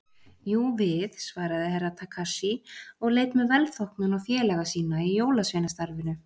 Jú, við, svaraði Herra Takashi og leit með velþóknun á félaga sína í jólasveinastarfinu.